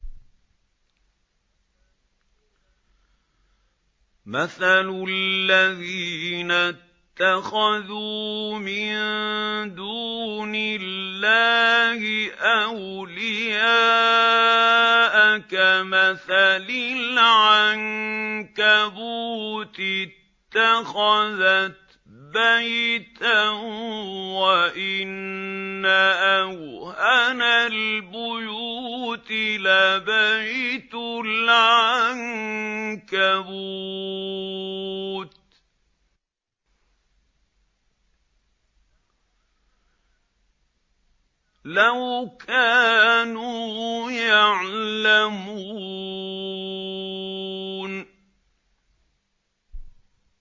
مَثَلُ الَّذِينَ اتَّخَذُوا مِن دُونِ اللَّهِ أَوْلِيَاءَ كَمَثَلِ الْعَنكَبُوتِ اتَّخَذَتْ بَيْتًا ۖ وَإِنَّ أَوْهَنَ الْبُيُوتِ لَبَيْتُ الْعَنكَبُوتِ ۖ لَوْ كَانُوا يَعْلَمُونَ